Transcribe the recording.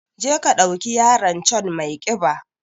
Je ka ɗauki yaron can maiƙiba